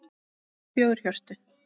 Já, fjögur HJÖRTU!